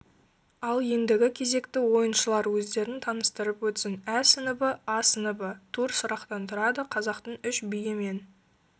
ал ендігі кезекті ойыншылар өздерін таныстырып өтсін әсыныбы асыныбы тур сұрақтан тұрады қазақтың үш биі мен